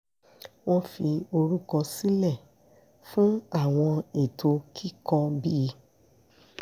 wọ́n forúkọ sílẹ̀ fún àwọn ètò kíkọ bí